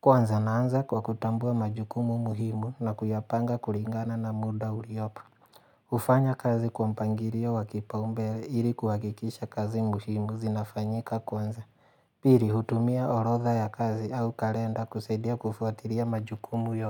Kwanza naanza kwa kutambua majukumu muhimu na kuyapanga kulingana na muda uliopo. Hufanya kazi kwa mpangilio wa kipaumbele ili kuhakikisha kazi muhimu zinafanyika kwanza. Pili hutumia orodha ya kazi au kalenda kusaidia kufuatilia majukumu yote.